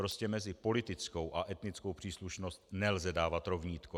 Prostě mezi politickou a etnickou příslušnost nelze dávat rovnítko.